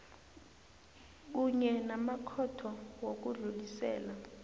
kunye namakhotho wokudlulisela